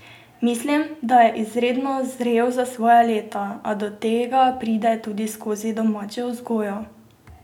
Mislim, da je izredno zrel za svoja leta, a do tega pride tudi skozi domačo vzgojo.